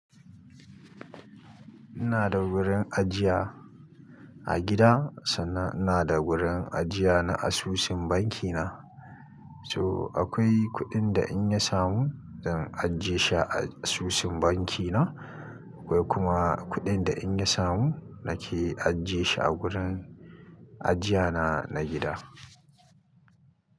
Ina da wurin ajiya a gida sannan ina da wurin ajiya na asusun banki na. So akwai kuɗin da in ya samu zan ajiye shi a asusun banki na. Akwai kuma kuɗin da in ya samu nake ajiye shi a wurin ajiya na na gida.